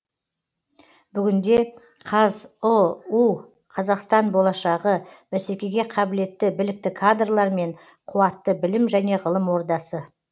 бүгінде қазұу қазақстан болашағы бәсекеге қабілетті білікті кадрлар мен қуатты білім және ғылым ордасы